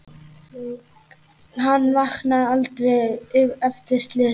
Hann vaknaði aldrei eftir slysið.